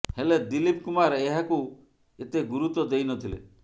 ହେଲେ ଦିଲୀପ୍ କୁମାର ଏହାକୁ ଏତେ ଗୁରୁତ୍ୱ ଦେଇ ନଥିଲେ